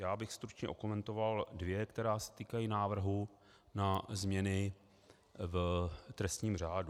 Já bych stručně okomentoval dvě, která se týkají návrhu na změny v trestním řádu.